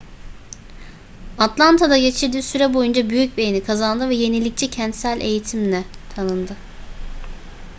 atlanta'da geçirdiği süre boyunca büyük beğeni kazandı ve yenilikçi kentsel eğitimle tanındı